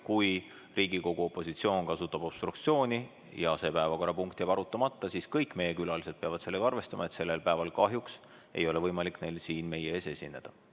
Kui Riigikogu opositsioon kasutab obstruktsiooni ja see päevakorrapunkt jääb arutamata, siis kõik meie külalised peavad sellega arvestama, et sellel päeval kahjuks ei ole võimalik neil siin meie ees esineda.